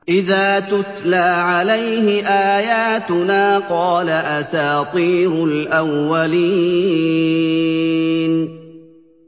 إِذَا تُتْلَىٰ عَلَيْهِ آيَاتُنَا قَالَ أَسَاطِيرُ الْأَوَّلِينَ